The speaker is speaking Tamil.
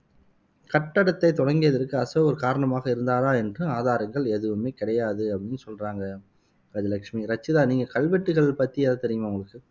கட்டடத்தைத் தொடங்கியதற்கு அசோகர் காரணமாக இருந்தாரா என்று ஆதாரங்கள் எதுவுமே கிடையாது அப்படின்னு சொல்றாங்க கஜலட்சுமி ரச்சிதா நீங்க கல்வெட்டுகள் பத்தி எதும் தெரியுமா உங்களுக்கு